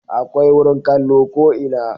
Akwai wurin kallo ko ina